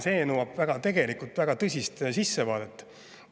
See nõuab tegelikult väga tõsist sissevaadet.